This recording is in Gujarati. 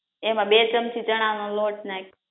એમા બે ચમચી ચણા નો લોટ નાય્ખ